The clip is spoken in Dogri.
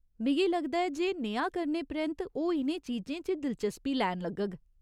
मिगी लगदा ऐ जे नेहा करने परैंत्त ओह् इ'नें चीजें च दिलचस्पी लैन लग्गग।